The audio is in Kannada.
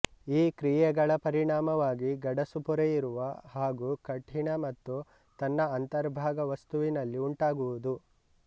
ಈ ಕ್ರಿಯೆಗಳ ಪರಿಣಾಮವಾಗಿ ಗಡಸುಪೊರೆಯಿರುವ ಹಾಗೂ ಕಠಿಣ ಮತ್ತು ತನ್ನ ಅಂತರ್ಭಾಗ ವಸ್ತುವಿನಲ್ಲಿ ಉಂಟಾಗುವುದು